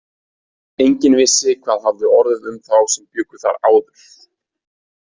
Enginn vissi hvað hafði orðið um þá sem bjuggu þar áður.